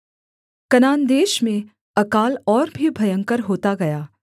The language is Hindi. कनान देश में अकाल और भी भयंकर होता गया